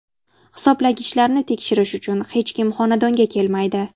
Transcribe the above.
Hisoblagichlarni tekshirish uchun hech kim xonadonga kelmaydi.